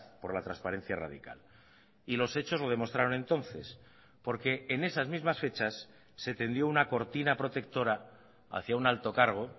por la transparencia radical y los hechos lo demostraron entonces porque en esas mismas fechas se tendió una cortina protectora hacia un alto cargo